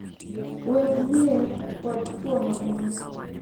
Weg mier kod chwo mamoko.